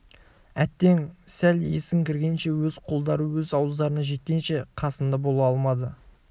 әттең сәл есің кіргенше өз қолдары өз ауыздарына жеткенше қасында бола алмады